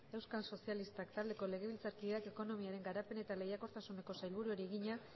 euskal sozialistak taldeko legebiltzarkideak ekonomiaren garapen eta lehiakortasuneko sailburuari egina